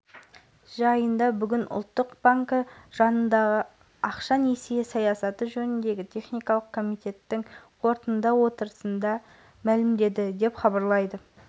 бүкіләлемдік қысқы студенттік ойындарында оңтүстіктен бірдей спортшы бақ сынайды әрдайым туы тұғырдан түспеген қазақ жұрты намысты спортшыларымызға сәттілік тілеп осылайша қолдау